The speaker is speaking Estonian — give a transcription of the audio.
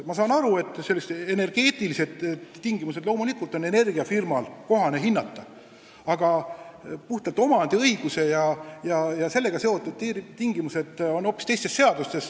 Ma saan aru, et energeetilisi tingimusi võikski loomulikult energiafirma hinnata, aga puhtalt omandiõigusega seotud tingimused on hoopis teistes seadustes.